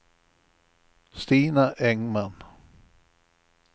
Stina Engman